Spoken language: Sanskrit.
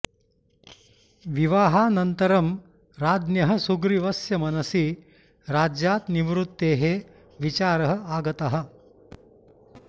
विवाहानन्तरं राज्ञः सुग्रीवस्य मनसि राज्यात् निवृत्तेः विचारः आगतः